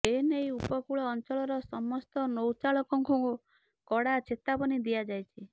ଏନେଇ ଉପକୂଳ ଅଞ୍ଚଳର ସମସ୍ତ ନୌକାଚାଳକଙ୍କୁ କଡା ଚେତାବନୀ ଦିଆଯାଇଛି